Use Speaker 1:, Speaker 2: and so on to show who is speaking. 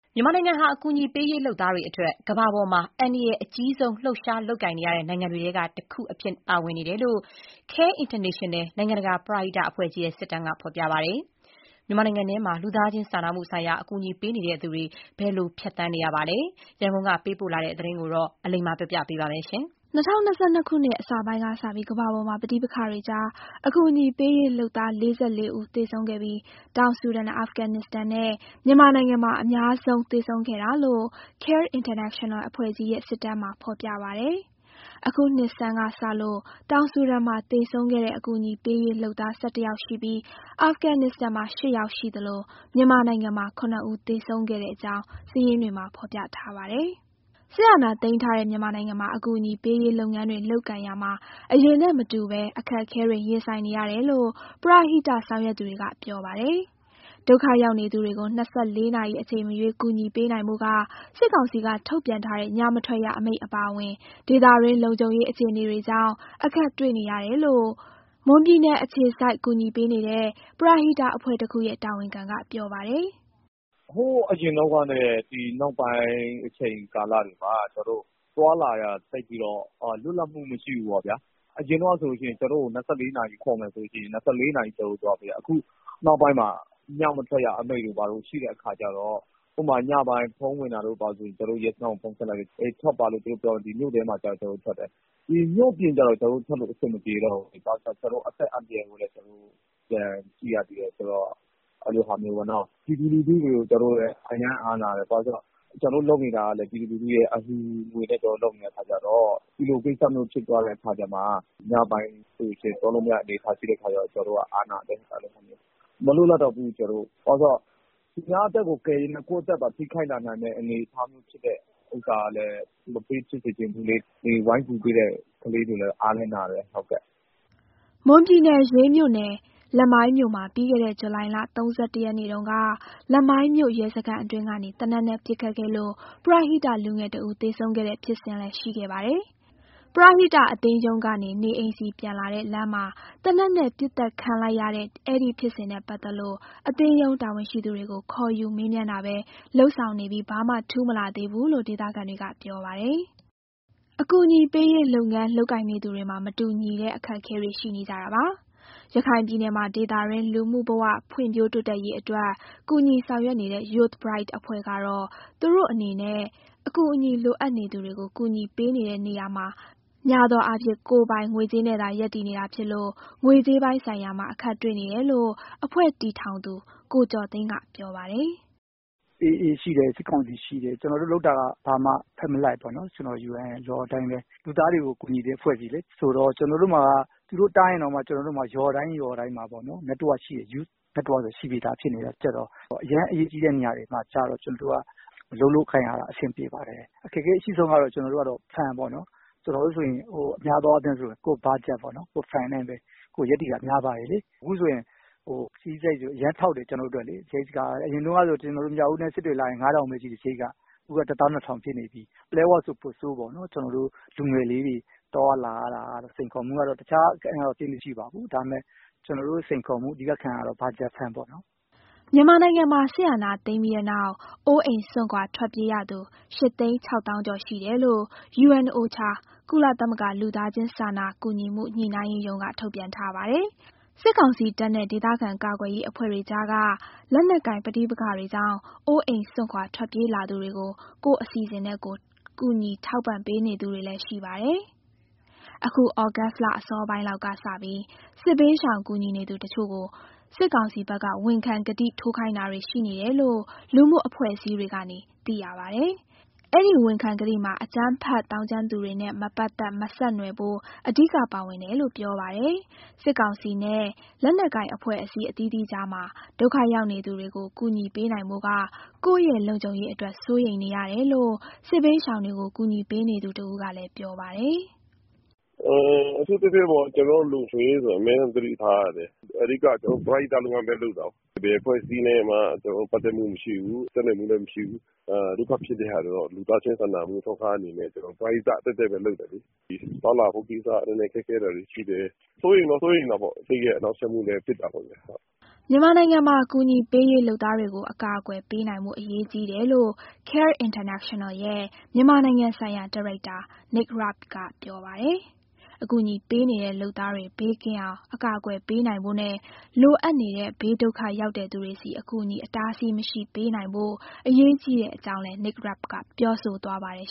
Speaker 1: မြန်မာနိုင်ငံဟာ အကူအညီပေးရေးလုပ်သားတွေအတွက် ကမ္ဘာမှာအန္တရာယ်အကြီးဆုံး လှုပ်ရှားလုပ်ကိုင်နေရတဲ့ နိုင်ငံတွေထဲက တခုအဖြစ်ပါဝင်နေတယ်လို့ CARE International နိုင်ငံတကာပရဟိတအဖွဲ့ကြီးရဲ့ စစ်တမ်းမှာ ဖော်ပြထားပါတယ်။ မြန်မာနိုင်ငံထဲမှာ လူသားချင်းစာနာမှုဆိုင်ရာ အကူအညီပေးနေသူတွေ ဘယ်လိုဖြတ်သန်းနေရပါသလဲ။ ရန်ကုန်ကပေးပို့ထားတဲ့ ဒီသတင်းကို အလိမ္မာက တင်ပြပေးထားပါတယ်။ ၂၀၂၂ ခုနှစ်က အစောပိုင်းကစပြီး ကမ္ဘာပေါ်က ပဋိပက္ခတွေကြား အကူအညီပေးရေးလုပ်သား ၄၄ ယောက်သေဆုံးခဲ့ပြီး တောင်ဆူဒန်၊ အာဖဂန်နစ္စတန်နဲ့ မြန်မာနိုင်ငံမှာ အများဆုံး သေဆုံးခဲ့တာလို့ CARE International အဖွဲ့ ကြီးရဲ့ စစ်တမ်းမှာ ဖော်ပြပါတယ်။ အခုနှစ်ဆန်းကစလို့ တောင်ဆူဒန် မှာ သေဆုံးခဲ့တဲ့ အကူအညီပေးရေးလုပ်သား ၁၁ ယောက်ရှိပြီး အာဖဂန်နစ္စတန်မှာ ၈ ယောက်ရှိသလို မြန်မာနိုင်ငံမှာ ၇ ဦး သေဆုံးခဲ့အကြောင်း စာရင်းတွေမှာ ဖော်ပြထားပါတယ်။ စစ်အာဏာသိမ်းထားတဲ့ မြန်မာနိုင်ငံမှာ အကူအညီပေးရေးလုပ်ငန်းတွေလုပ်ကိုင်ရာမှာ အရင်နဲ့မတူဘဲ အခက်အခဲတွေ ရင်ဆိုင်နေရတယ်လို့ ပရဟိတဆောင်ရွက်သူတွေက ပြောပါတယ်။ ဒုက္ခရောက်နေသူတွေကို ၂၄ နာရီ အချိန်မရွေးကူညီပေးနိုင်ဖို့က စစ်ကောင်စီကထုတ်ပြန်ထားတဲ့ ညမထွက်ရအမိန့်အပါအဝင် ဒေသတွင်းလုံခြုံရေး အခြေအနေတွေကြောင့် အခက်တွေ့နေတယ်လို့ မွန်ပြည်နယ်အခြေစိုက် ကူညီပေးနေတဲ့ ပရဟိတအဖွဲ့တခုရဲ့ တာဝန်ခံက ပြောပါတယ်။
Speaker 2: "ဟိုးအရင်တုန်းကနဲ့ ဒီနောက်ပိုင်း အချိန်ကာလတွေမှာ ကျနော်တို့သွားလာရတာ သိပ်ပြီးတော့ လွတ်လပ်မှုမရှိဘူးပေါ့ဗျာ။ အရင်တုန်းကဆိုရင် ကျနော်တို့ကို ၂၄ နာရီခေါ်မယ်ဆိုလို့ရှိရင် ၂၄ နာရီပတ်လုံးသွားလို့ရတယ်။ အခုနောက်ပိုင်းမှာ ညမထွက်ရအမိန့်တို့ဘာတို့ ရှိတဲ့အခါကျတော့ ညပိုင်းဖုန်းဝင်လာရင် ကျနော်တို့က ရဲစခန်းကိုဖုန်းဆက်လိုက်လို့ ထွက်ပါလို့ သူတို့ပြောရင် မြို့ထဲမှာဆိုရင် ကျနော်တို့ထွက်တယ်။ မြို့ပြင်ကျတော့ ကျနော်တို့ထွက်လို့ အဆင်မပြေတော့ဘူး။ ဘာလို့ဆို ကျနော်တို့ အသက်အန္တရာယ်ကိုလည်း ပြန်ကြည့်ရသေးတယ်။ ကျနော်တို့လုပ်နေတယ်ဆိုတာလည်း ပြည်သူလူထုရဲ့ အလှူငွေနဲ့လုပ်တာဆိုတော့ ညပိုင်းသွားလို့မရတဲ့အနေအထား ဖြစ်တဲ့အခါကျတော့ ကျနော်တို့ကအားနာတယ်။ ဘာလို့ဆို သူများအသက်ကိုကယ်ရင်းနဲ့ ကိုယ့်အသက်ကိုထိခိုက်လာနိုင်တဲ့ အနေအထားမျိုး ရှိတဲ့ဟာကလည်း ဝိုင်းကူပေးနေတဲ့ကလေးတွေကို မပေးဖြစ်စေချင်ဘူးလေ။
Speaker 1: " မွန်ပြည်နယ်၊ ရေးမြို့နယ်၊ လမိုင်းမြို့မှာ ပြီးခဲ့တဲ့ ဇူလိုင်လ ၃၁ ရက်နေ့တုန်းက လမိုင်းမြို့ရဲစခန်းအတွင်းကနေ သေနတ်နဲ့ပစ်ခတ်ခဲ့လို့ ပရဟိတလူငယ်တဦး သေဆုံးခဲ့တဲ့ဖြစ်စဉ်လည်း ရှိခဲ့ပါတယ်။ ပရဟိတအသင်းရုံးကနေ နေအိမ်ဆီပြန်လာတဲ့ လမ်းမှာ သေနတ်နဲ့ပစ်သတ်ခံလိုက်ရတဲ့ အဲဒီဖြစ်စဉ် နဲ့ပတ်သက်လို့ အသင်းရုံးတာဝန်ရှိသူတွေကို ခေါ်ယူမေးမြန်းတာပဲ လုပ်ဆောင်နေပြီး ဘာမှထူးမလာသေးဘူးလို့ ဒေသခံတွေက ပြောပါတယ်။ အကူအညီပေးရေး လုပ်ငန်းလုပ်ကိုင်နေသူတွေမှာ မတူညီတဲ့ အခက်အခဲတွေ ရှိနေကြတာပါ။ ရခိုင်ပြည်နယ်မှာ ဒေသတွင်းလူမှုဘဝ ဖွံ့ဖြိုးတိုးတက်ရေးအတွက် ကူညီဆောင်ရွက်နေတဲ့ Youth Bright အဖွဲ့ကတော့ သူတို့အနေနဲ့ အကူအညီလိုအပ်နေသူတွေကို ကူညီပေးနေတဲ့နေရာမှာ များသောအားဖြင့် ကိုယ်ပိုင်ငွေကြေးနဲ့သာ ရပ်တည်နေတာဖြစ်လို့ ငွေကြေးပိုင်းဆိုင်ရာမှာ အခက်တွေ့နေတယ်လို့ အဖွဲ့တည်ထောင်သူ ကိုကျော်သိန်းက ပြောပါတယ်။
Speaker 3: "ရခိုင်မှာက AA ရှိတယ်၊ စစ်ကောင်စီ ရှိတယ်။ ကျနော်တို့လုပ်တာက ဘာမှဘက်မလိုက်ဘူး။ UN ရဲ့ Law အတိုင်းပဲ လူသားတွေကို ကူညီတဲ့အဖွဲ့အစည်းလေ။ ဆိုတော့ သူတို့တားရင်တောင်မှ ကျနော်တို့မှာက ရွာတိုင်းရွာတိုင်းမှာ Youth Network ဆိုတာ ရှိနေပြီးသားဆိုတော့ အရမ်းအရေးကြီးတဲ့ နေရာမျိုးမှာ အလုပ်လုပ်ကိုင်ရတာ အဆင်ပြေပါတယ်။ အခက်အခဲအရှိဆုံးကတော့ Fund ပေါ့နော်။ ကျနော်တို့ဆိုရင် များသောအားဖြင့် ကိုယ့် Budget နဲ့ပဲ ရပ်တည်တာများပါတယ်။ အခုဆိုရင် ခရီးစရိတ်က အရမ်းထောက်တယ်။ အရင်ကဆို မြောက်ဦးနဲ့ စစ်တွေလာရင် ၅,၀၀၀ ပဲ ရှိတယ်။ အခုက ၁၂,၀၀၀ ဖြစ်နေပြီ။ ပလက်ဝဆို ပိုဆိုးပေါ့။ ကျနော်တို့လူငယ်လေးတွေ သွားရလာရတာတော့ စိန်ခေါ်မှုကတော့ တခြားသိပ်မရှိပါဘူး။ ဒါပေမဲ့ အဓိကစိန်ခေါ်မှုက Fund ပေါ့နော်။
Speaker 1: " မြန်မာနိုင်ငံမှာ စစ်အာဏာသိမ်းပြီးတဲ့နောက် အိုးအိမ်စွန့်ခွာ ထွက်ပြေးရသူ ၈ သိန်း၊ ၇ သောင်း နီးပါးရှိတယ်လို့ UNOCHA ကုလသမဂ္ဂ လူသားချင်းစာနာကူညီမှု ညှိနှိုင်းရေးရုံးက ထုတ်ပြန်ထားပါတယ်။ စစ်ကောင်စီတပ်နဲ့ ဒေသခံကာကွယ်ရေး အဖွဲ့တွေကြားက လက်နက်ကိုင်ပဋိပက္ခတွေကြောင့် အိုးအိမ်စွန့်ခွာ ထွက်ပြေးလာသူတွေကို ကိုယ့်အစီအစဉ်နဲ့ကိုယ် ကူညီထောက်ပံ့ပေးနေသူတွေလည်း ရှိပါတယ်။ အခု ဩဂုတ်လအစောပိုင်းလောက်က စပြီး စစ်ဘေးရှောင်ကူညီနေသူတချို့ကို စစ်ကောင်စီဘက်က ဝန်ခံကတိထိုးခိုင်းတာတွေ ရှိနေတယ်လို့ လူမှုအဖွဲ့အစည်းတွေကနေ သိရပါတယ်။ အဲဒီ ဝန်ခံကတိမှာ အကြမ်းဖက်သောင်းကျန်းသူတွေနဲ့ မပတ်သက်၊ မဆက်နွယ်ဖို့ အဓိကပါဝင်တယ်လို့ ပြောပါတယ်။ စစ်ကောင်စီနဲ့ လက်နက်ကိုင်အဖွဲ့အစည်း အသီးသီးကြားမှာ ဒုက္ခရောက်နေသူတွေကို ကူညီပေးနိုင်ဖို့က ကိုယ့်ရဲ့လုံခြုံရေးအတွက် စိုးရိမ်နေရတယ်လို့ စစ်ဘေးရှောင်တွေကို ကူညီပေးနေသူတဦးက ပြောပါတယ်။
Speaker 2: "အထူးသဖြင့် ကျနော်တို့ရဲ့ လုံခြုံရေးကို အမြဲသတိထားရတယ်။ အဓိက ကျနော်တို့က ပရဟိတလုပ်ငန်းပဲ လုပ်တာ။ ဘယ်အဖွဲ့အစည်းနဲ့မှ ကျနော်တို့ ပတ်သက်မှုမရှိဘူး၊ ဆက်နွယ်မှုလည်း မရှိဘူး။ ဒုက္ခဖြစ်နေသူတွေကို လူသားချင်းစာနာမှု အထောက်အပံ့အနေနဲ့ ပရဟိတပဲလုပ်တာလေ။ သွားလာမှုကိစ္စ နည်းနည်းခက်ခဲတာတွေ ရှိတယ်။ စိုးရိမ်တော့ စိုးရိမ်တာပေါ့။ စိတ်ရဲ့ နှောင့်ယှက်မှုလည်း ဖြစ်တာပေါ့ဗျာ။
Speaker 1: " မြန်မာနိုင်ငံမှာ အကူအညီပေးရေး လုပ်သားတွေကို အကာအကွယ်ပေးနိုင်ဖို့ အရေးကြီးတယ်လို့ CARE International ရဲ့ မြန်မာနိုင်ငံဆိုင်ရာ ဒါရိုက်တာ Nate Rabe က ပြောပါတယ်။ အကူအညီပေးနေတဲ့ လုပ်သားတွေ ဘေးကင်းအောင် အကာအကွယ်ပေးနိုင်ဖို့နဲ့ လိုအပ်နေတဲ့ ဘေးဒုက္ခရောက်တဲ့သူတွေဆီ အကူအညီ အတားအဆီးမရှိ ပေးနိုင်ဖို့ အရေးကြီးတဲ့အကြောင်းလည်း Nate Rabe က ပြောဆိုသွားပါတယ်